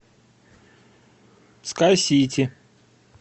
скай сити